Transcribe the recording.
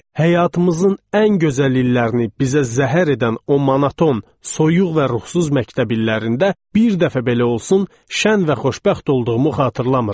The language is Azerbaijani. Həyatımızın ən gözəl illərini bizə zəhər edən o monoton, soyuq və ruhsuz məktəb illərində bir dəfə belə olsun şən və xoşbəxt olduğumu xatırlamıram.